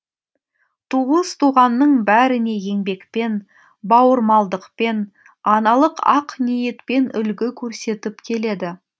туыс туғанның бәріне еңбекпен бауырмалдықпен аналық ақ ниетпен үлгі көрсетіп келеді